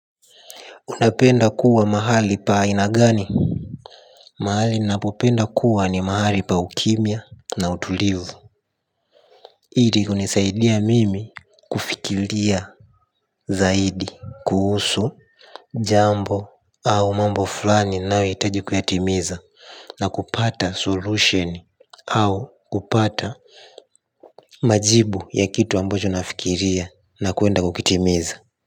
Unapenda kuwa mahali pa aina gani mahali ninapopenda kuwa ni mahali pa ukimya na utulivu hili hunisaidia mimi kufikilia zaidi kuhusu jambo au mambo fulani ninayohitaji kuyatimiza na kupata solution au kupata majibu ya kitu ambacho nafikiria na kuenda kukitimiza.